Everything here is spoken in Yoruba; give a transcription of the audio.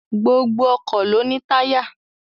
Gbogbo ọkọ̀ ló ní táyà